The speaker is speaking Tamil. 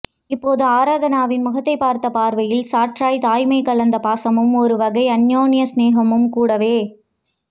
இப்போது ஆராதனாவின் முகத்தை பார்த்த பார்வையில் சற்றாய் தாய்மை கலந்த பாசமும் ஒரு வகை அன்யோன்ய சிநேகமும் கூடவே